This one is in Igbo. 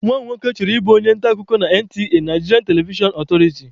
Nwanne m nwoke chọrọ ịbụ onye nta akụkọ na NTA(Nigerian Television Authority)